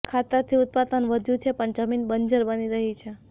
ખાતરથી ઉત્પાદન વધ્યું છે પણ જમીન બંજર બની રહી છે